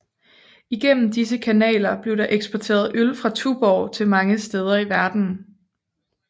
Igennem disse kanaler blev der eksporteret øl fra Tuborg til mange steder i verdenen